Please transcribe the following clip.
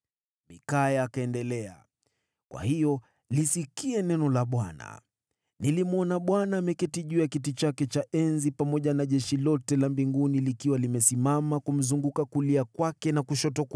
Mikaya akaendelea, “Kwa hiyo lisikie neno la Bwana : Nilimwona Bwana ameketi juu ya kiti chake cha enzi pamoja na jeshi lote la mbinguni likiwa limesimama upande wa kulia na wa kushoto.